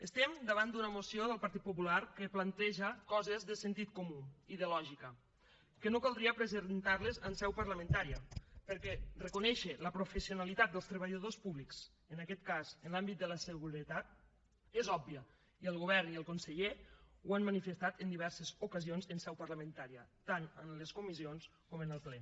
estem davant d’una moció del partit popular que planteja coses de sentit comú i de lògica que no caldria presentar les en seu parlamentària perquè reconèixer la professionalitat dels treballadors públics en aquest cas en l’àmbit de la seguretat és obvi i el govern i el conseller ho han manifestat en diverses ocasions en seu parlamentària tant en les comissions com en el ple